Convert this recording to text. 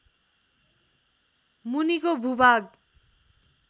मुनिको भूभाग